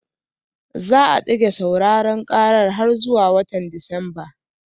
Za a dage sauraron karar har zuwa watan Disamba